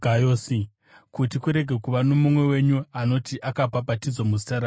kuti kurege kuva nomumwe wenyu anoti akabhabhatidzwa muzita rangu.